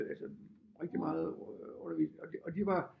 Altså rigtig meget og de var